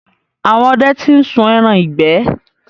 Àwọn ọdẹ ti ń sun ẹran ìgbẹ́.